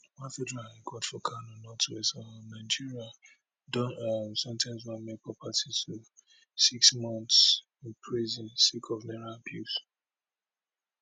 one federal high court for kano northwest um nigeria don um sen ten ce one makeup artist to six months in prison sake of naira abuse